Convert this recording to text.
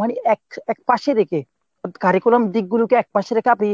মানে এক~ একপাশে রেখে curriculum দিকগুলোকে একপাশে রেখে আপনি